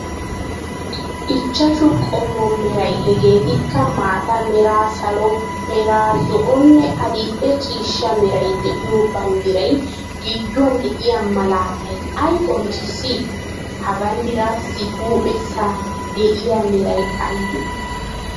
Ichchashu qommo meray heegetikka maata mera, salo mera, zo'onne adil'e ciishsha meray de'iyoo banddiray giduwan de'iyaa malatay ayi qoncissi? Ha banddiraasi huuphphesa de'iya meray aybee?